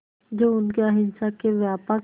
जो उनके अहिंसा के व्यापक